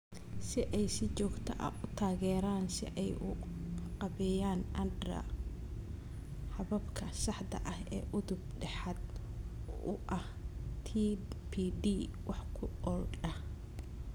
Si ay si joogto ah u taageeraan si ay u qaabeeyaan (andra) hababka saxda ah ee udub dhexaad u ah TPD wax ku ool ah.